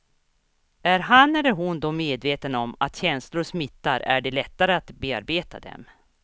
Är han eller hon då medveten om att känslor smittar är det lättare att bearbeta dem.